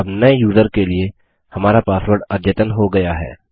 अब नये यूज़र के लिए हमारा पासवर्ड अद्यतन हो गया है